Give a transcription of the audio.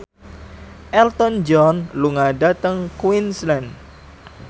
Elton John lunga dhateng Queensland